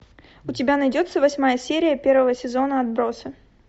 у тебя найдется восьмая серия первого сезона отбросы